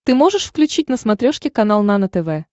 ты можешь включить на смотрешке канал нано тв